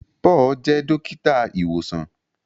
Paul jẹ dókítà ìwòsàn.